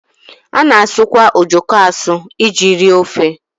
A na-asụkwa ojoko asụ iji rie ofe.